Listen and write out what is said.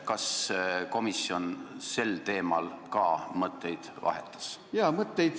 Kas komisjon sel teemal ka mõtteid vahetas?